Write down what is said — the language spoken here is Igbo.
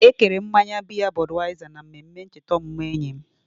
Ekere mmanya biya Budweiser na mmemme ncheta ọmụmụ enyi m.